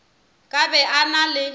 ka be a na le